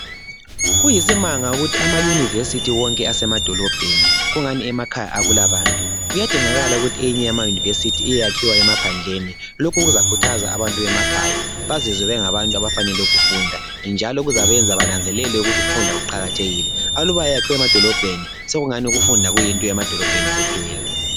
kuyisimanga ukuthi ama university wonke asema dolobheni kungani emakhaya akula bantu kuyadingala ukuthi eyinye yama university iyeyakhiwa emaphandleni lokhu kuzakhuthaza abantu bemakhaya bazezwa bengabantu abafanele ukufunda njalo kuzabenza benanzelele ukuthi ukufunda kuqakathekile akuba yakhiwe emadolobheni sokungathi ukufunda kuyinto yemadolobheni kuphela